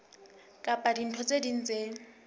kapa dintho tse ding tse